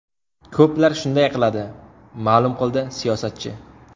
Ko‘plar shunday qiladi”, ma’lum qildi siyosatchi.